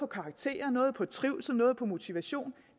karakterer nogle på trivsel nogle på motivation